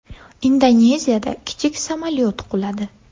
Indoneziyada kichik samolyot quladi.